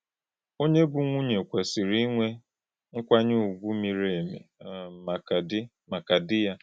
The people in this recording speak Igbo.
Ònyé bụ́ nwùnyé kwesìrì ínwè nkwànyè ùgwù mírì èmì um mākà dí mākà dí ya.”